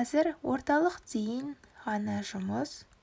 қазір орталық дейін ғана жұмыс